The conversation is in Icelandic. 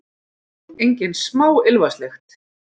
Engin smá ilmvatnslykt!